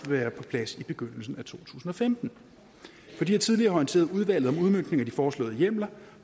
være på plads i begyndelsen af to tusind og femten fordi jeg tidligere har orienteret udvalget om udmøntningen af de foreslåede hjemler